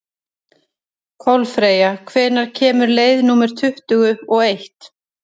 Kolfreyja, hvenær kemur leið númer tuttugu og eitt?